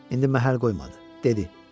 İndi məhəl qoymadı, dedi.